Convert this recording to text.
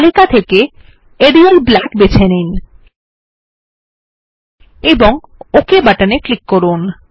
তালিকা থেকে Arial Black বেছে নিন এবং ওক বাটনে ক্লিক করুন